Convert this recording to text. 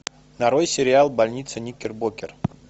нарой сериал больница никербокер